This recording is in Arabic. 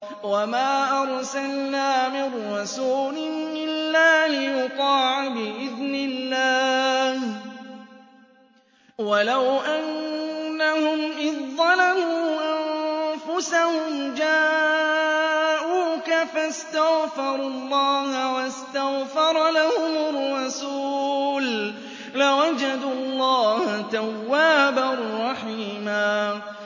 وَمَا أَرْسَلْنَا مِن رَّسُولٍ إِلَّا لِيُطَاعَ بِإِذْنِ اللَّهِ ۚ وَلَوْ أَنَّهُمْ إِذ ظَّلَمُوا أَنفُسَهُمْ جَاءُوكَ فَاسْتَغْفَرُوا اللَّهَ وَاسْتَغْفَرَ لَهُمُ الرَّسُولُ لَوَجَدُوا اللَّهَ تَوَّابًا رَّحِيمًا